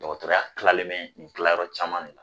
Dɔkɔtɔrɔya kilalen mɛ nin kilayɔrɔ caman ne na